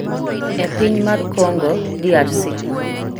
e piny mar Kongo, DRC.